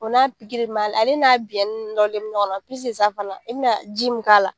O n'a mun b'a la, ale n'a binɲɛnin nɔrɔlen be ɲɔgɔn fana i be na ji mun k'a la